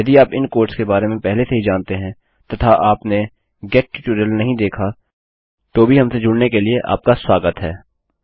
यदि आप इन कोड़्स के बारे में पहले से ही जानते हैं तथा आपने गेट ट्यूटोरियल नहीं देखा तो भी हमसे जुड़ने के लिए आपका स्वागत है